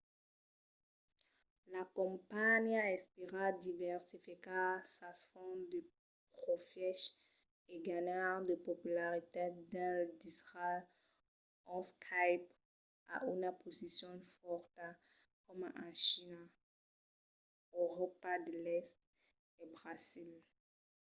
la companhiá espèra diversificar sas fonts de profièches e ganhar de popularitat dins d'airals ont skype a una posicion fòrta coma en china euròpa de l'èst e brasil